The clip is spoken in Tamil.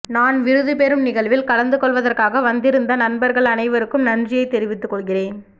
நான் விருது பெறும் நிகழ்வில் கலந்து கொள்வதற்காக வந்திருந்த நண்பர்கள் அனைவருக்கும் நன்றியைத் தெரிவித்துக் கொள்கிறேன்